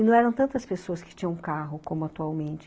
E não eram tantas pessoas que tinham carro, como atualmente.